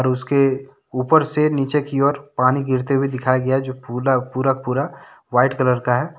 उसके ऊपर से नीचे की और पानी गिरते हुए दिखाया गया है जो पूरा का पूरा वाइट कलर का है।